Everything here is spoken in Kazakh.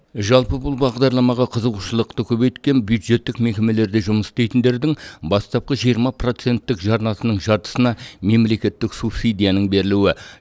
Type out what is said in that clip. жалпы бұл бағдарламаға қызығушылықты көбейткен бюджеттік мекемелерде жұмыс істейтіндердің бастапқы жиырма проценттік жарнасының жартысына мемлекеттік субсидияның берілуі